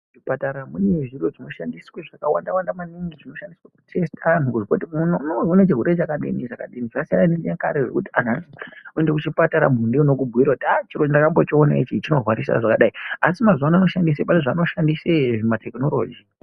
...zvipatara munezviro zvinoshandiswe zvakawanda-wanda maningi zvinoshandiswe kutesita antu kuzwe kuti muntu uno unorwara nezvirwere chakadini, zvakadini. Zvasiyana nechinyakare zvokuti anhu akaenda kuchipatara muntu ndiye unokubhuire kuti ah chiro ndakambochiona ichi chinorwarisa zvakadai. Asi mazuvano oshandise, pane zvaanoshandise zvimatekinoroji.